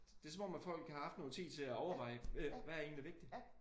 Det er som om at folk har haft noget tid til at overveje hvad er egentlig vigtigt